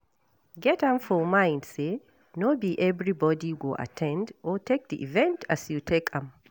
Get am for mind sey no be everybody go at ten d or take di event as you take am